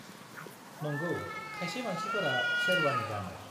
नंगौ, खायसे मानसिफोरा शेरवानि गानो।